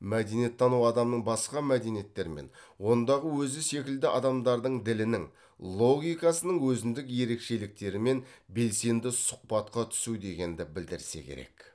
мәдениеттану адамның басқа мәдениеттермен ондағы өзі секілді адамдардың ділінің логикасының өзіндік ерекшеліктерімен белсенді сұхбатқа түсу дегенді білдірсе керек